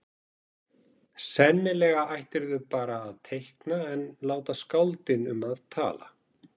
Sennilega ættirðu bara að teikna en láta skáldin um að tala.